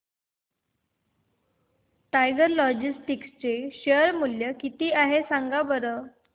tiger logistics चे share मूल्य किती आहे सांगा बरं